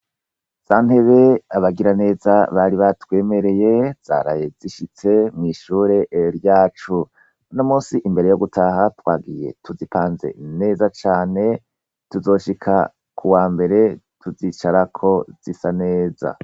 Za ntebe abagiraneza bari batwemereye zaraye zishitse mw'ishure ryacu n'u munsi imbere yo gutaha twagiye tuzipanze neza cyane tuzoshika ku wa mbere tuzicara ko zisa neza.